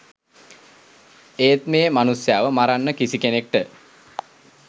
ඒත් මේ මනුස්සයව මරන්න කිසි කෙනෙක්ට